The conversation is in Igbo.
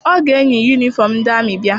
Ọ ga-eyi yunifọm ndị amị bịa.